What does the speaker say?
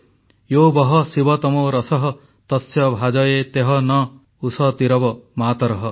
ୟୋ ବଃ ଶିବତମୋ ରସଃ ତସ୍ୟ ଭାଜୟତେହ ନଃ ଉଷତୀରିବ ମାତରଃ